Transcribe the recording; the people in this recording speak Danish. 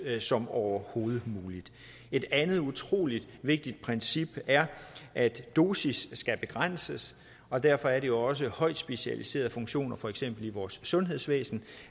som overhovedet muligt et andet utrolig vigtigt princip er at dosis skal begrænses og derfor er det også højt specialiserede funktioner for eksempel i vores sundhedsvæsen